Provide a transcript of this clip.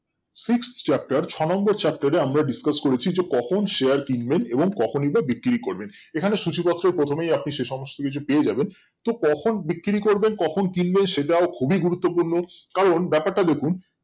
Sixth chapter ছ নম্বর chapter এ আমরা discuss করেছি যে কখন Share কিনবেন এবং কখনই বা বিক্রি করবেন এখানে সূচিপত্র প্রথমেই আপনি সেই সমস্ত কিছু পেয়ে যাবেন তো কখন বিক্রি করবেন কখন কিনবেন সেটাও খুবই গুরুত্বপূর্ণ কারণ ব্যাপারটা দেখুন